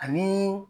Ani